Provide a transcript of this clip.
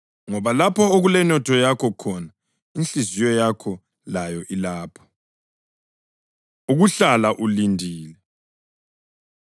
Ngoba lapho okulenotho yakho khona, inhliziyo yakho layo ilapho.” Ukuhlala Ulindile